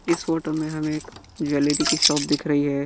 इस फोटो में हमें एक ज्वेलरी की शॉप दिख रही है।